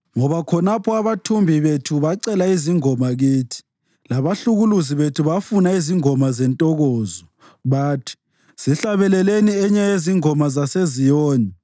ngoba khonapho abathumbi bethu bacela izingoma kithi, labahlukuluzi bethu bafuna izingoma zentokozo; bathi, “Sihlabeleleni enye yezingoma zaseZiyoni!”